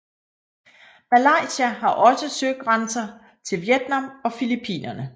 Malaysia har også søgrænser til Vietnam og Filippinerne